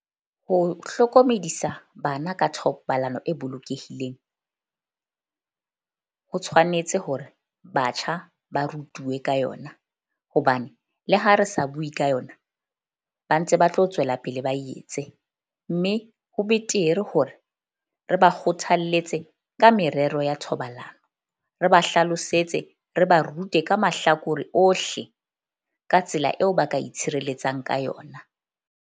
Ho hlokomedisa bana ka thobalano e bolokehileng ho tshwanetse hore batjha ba rutuwe ka yona. Hobane le ha re sa bue ka yona, ba ntse ba tlo tswela pele, ba e etse. Mme ho betere hore re ba kgothalletse ka merero ya thobalano, re ba hlalosetse, re ba rute ka mahlakore ohle ka tsela eo ba ka itshireletsang ka yona.